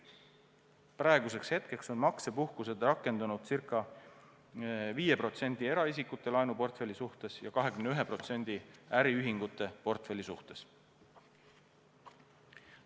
Praeguseks on maksepuhkused rakendunud circa 5% eraisikute laenuportfelli suhtes ja 21% äriühingute portfelli suhtes.